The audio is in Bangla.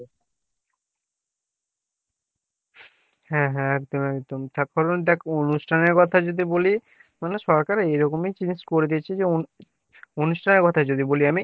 হ্যাঁ হ্যাঁ একদম একদম অনুষ্ঠানের কথা যদি বলি অনুষ্ঠানের কথা যদি বলি আমি সরকার এরিরকম ই জিনিস করে দিয়েছে অনুষ্ঠানের কথা যদি বলি আমি